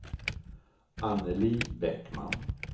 Annelie Bäckman